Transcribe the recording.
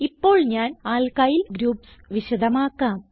ഇപ്പോൾ ഞാൻ alkyl groups വിശദമാക്കാം